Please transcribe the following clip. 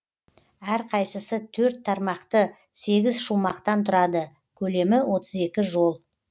әрқайсысы төрт тармақты сегіз шумақтан тұрады көлемі отыз екі жол